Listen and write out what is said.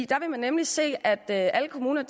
der vil man nemlig se at alle kommuner